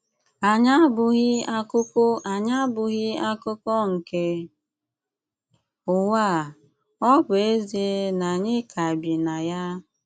Ànyị àbụ̀ghị̀ akụkụ Ànyị àbụ̀ghị̀ akụkụ nke Ụ̀wà à, ọ̀ bụ́ èzìe na ànyị ka bì na ya.